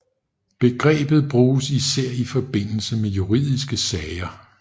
Begrebet bruges især i forbindelse med juridiske sager